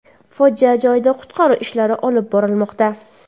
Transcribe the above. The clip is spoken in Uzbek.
Fojia joyida qutqaruv ishlari olib borilmoqda.